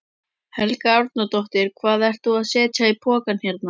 Helga Arnardóttir: Hvað ert þú að setja í poka hérna?